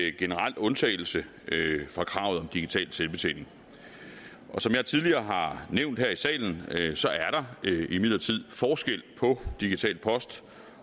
en generel undtagelse for kravet om digital selvbetjening som jeg tidligere har nævnt her i salen er der imidlertid forskel på digital post